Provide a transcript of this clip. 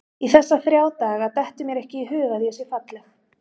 Í þessa þrjá daga dettur mér ekki í hug að ég sé falleg.